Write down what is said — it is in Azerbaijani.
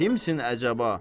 Kimsən əcəba?